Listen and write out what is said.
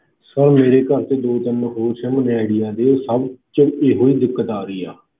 Sir ਮੇਰੇ ਘਰ 'ਚ ਦੋ ਤਿੰਨ ਹੋਰ sim ਨੇ ਆਈਡੀਆ ਦੇ ਸਭ 'ਚ ਇਹੋ ਦਿੱਕਤ ਆ ਰਹੀ ਹੈ।